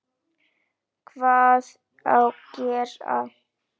Hvað á gera?